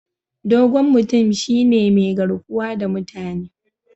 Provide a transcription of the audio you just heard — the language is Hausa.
Dogon mutum shine mai garkuwa da mutane.